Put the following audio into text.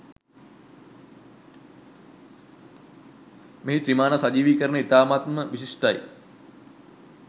මෙහි ත්‍රිමාණ සජීවීකරණය ඉතාමත්ම විශිෂ්ඨයි.